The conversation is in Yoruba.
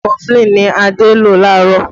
Kọfulin ni Adé lò laarọ